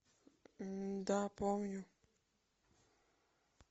да помню